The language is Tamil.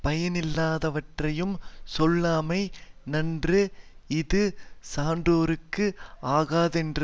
பயனில்லாதவற்றைச் சொல்லாமை நன்று இது சான்றோர்க்கு ஆகாதென்றது